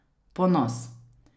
Ponos.